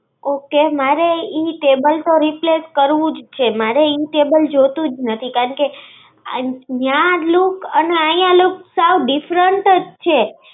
Okay, મારે ઈ table તો replace કરવુંજ છે. મારે ઈ table જોતુંજ નથી. કયાંકે ન્યાં look અને અય્યા look સબ different જ છે.